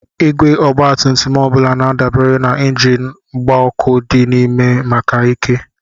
Igwe ọgbatumtum ọ bụla na-adabere na injin mgba ọkụ dị n'ime maka ike.